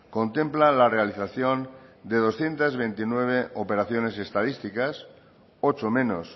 contempla la realización de doscientos veintinueve operaciones estadísticas ocho menos